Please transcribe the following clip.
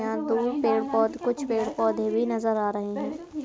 यहां दूर पेड़ पौध कुछ पेड़ पौधे भी नजर आ रहे हैं।